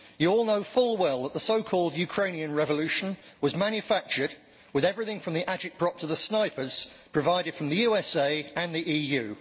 Members know full well that the so called Ukrainian revolution was manufactured with everything from the agitprop to the snipers provided from the USA and the EU.